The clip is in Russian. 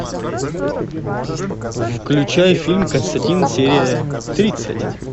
включай фильм константин серия тридцать